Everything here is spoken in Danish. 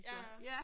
Ja ja